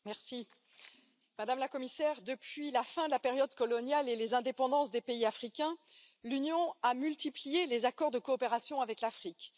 Madame la Présidente, madame la Commissaire, depuis la fin de la période coloniale et les indépendances des pays africains, l'Union a multiplié les accords de coopération avec l'Afrique.